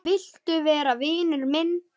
Viltu vera vinur minn?